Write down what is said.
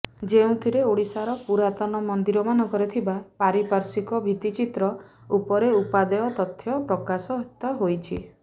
ଯେଉଁଥିରେ ଓଡ଼ିଶାର ପୁରାତନ ମନ୍ଦିରମାନଙ୍କରେ ଥିବା ପାରିପାର୍ଶ୍ବିକ ଭିତ୍ତିଚିତ୍ର ଉପରେ ଉପାଦେୟ ତଥ୍ୟ ପ୍ରକାଶିତ ହୋଇଛି